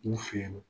U fe yen nɔ